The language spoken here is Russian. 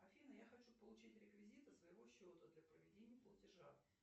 афина я хочу получить реквизиты своего счета для проведения платежа